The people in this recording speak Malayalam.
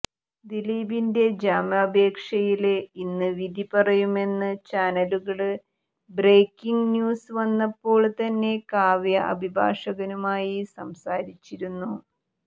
ദിലീപിന്റെ ജാമ്യാപേക്ഷയില് ഇന്ന് വിധി പറയുമെന്ന് ചാനലുകളില് ബ്രേക്കിംഗ് ന്യൂസ് വന്നപ്പോള് തന്നെ കാവ്യ അഭിഭാഷകനുമായി സംസാരിച്ചിരുന്നു